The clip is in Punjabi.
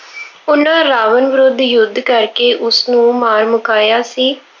ਉਹਨਾ ਰਾਵਣ ਵਿਰੁੱਧ ਯੁੱਧ ਕਰਕੇ ਉਸਨੂੰ ਮਾਰ ਮੁਕਾਇਆ ਸੀ।